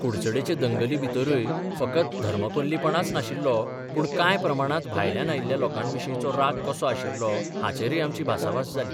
कुडचडेंचें दंगलीभितरूय फकत धर्मकोल्लीपणांच नाशिल्लो, पूण कांय प्रमाणांत भायल्यान आयिल्ल्या लोकांविशींचो राग कसो आशिल्लो हाचेरय आमची भासाभास जाली.